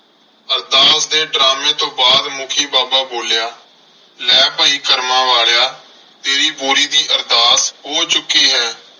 ਅਰਦਾਸ ਦੇ ਡਰਾਮੇ ਤੋਂ ਬਾਅਦ ਮੁੱਖੀ ਬਾਬਾ ਬੋਲਿਆ ਲੈ ਭਾਈ ਕਰਮਾਂ ਵਾਲਿਆ ਤੇਰੀ ਬੋਰੀ ਦੀ ਅਰਦਾਸ ਹੋ ਚੁੱਕੀ ਹੈ।